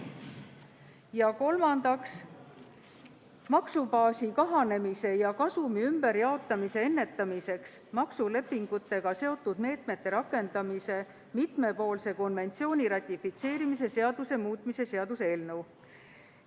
Ja kolmandaks, maksubaasi kahandamise ja kasumi ümberpaigutamise ennetamiseks maksulepingutega seotud meetmete rakendamise mitmepoolse konventsiooni ratifitseerimise seaduse muutmise seaduse eelnõu.